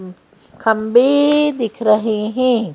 खम्बे दिख रहे हैं।